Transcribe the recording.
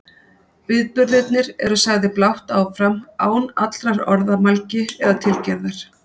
Viðburðirnir eru sagðir blátt áfram án allrar orðamælgi eða tilgerðar.